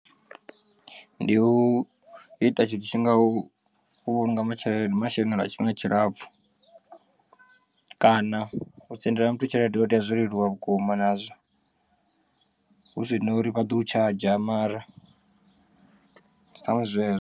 Ndi u ita tshithu tshi ngaho u vhulunga tshelede masheleni lwa tshifhinga tshilapfu kana u sendela muthu tshelede ho tea zwo leluwa vhukuma nazwo hu sina uri vha ḓo tshadzha mara sa zwezwo.